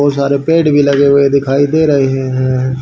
बहुत सारे पेड़ भी लगे हुए दिखाई दे रहे हैं।